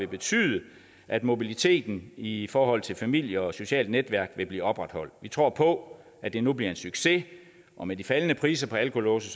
betyde at mobiliteten i i forhold til familie og socialt netværk vil blive opretholdt vi tror på at det nu bliver en succes og med de faldende priser på alkolåse